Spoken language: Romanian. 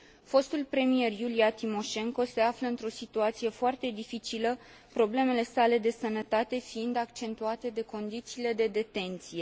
Fostul premier, Iulia Timoșenko, se află într o situație foarte dificilă, problemele sale de sănătate fiind accentuate de condițiile de detenție